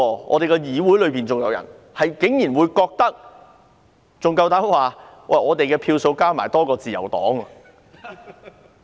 我們的議會裏有人不懂得檢討，還膽敢說他們的票數加起來比自由黨多。